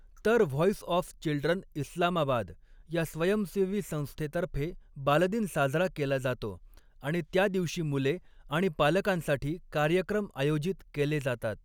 तर 'voice of children Islamabad' या स्वयंसेवी संस्थेतर्फे बालदिन साजरा केला जातो आणि त्या दिवशी मुले आणि पालकांसाठी कार्यक्रम आयोजित केले जातात.